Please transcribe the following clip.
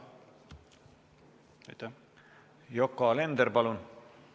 Yoko Alender, palun!